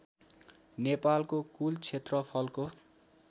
नेपालको कूल क्षेत्रफलको